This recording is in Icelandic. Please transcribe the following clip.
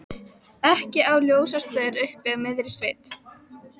Ekki á ljósastaur uppi í miðri sveit.